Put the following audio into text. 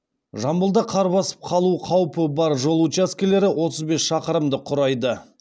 жамбылда қар басып қалу қаупі бар жол учаскелері отыз бес шақырымды құрайды